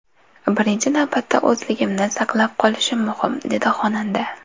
Birinchi navbatda o‘zligimni saqlab qolishim muhim”, dedi xonanda.